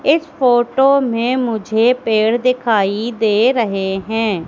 इस फोटो में मुझे पेड़ दिखाई दे रहे हैं।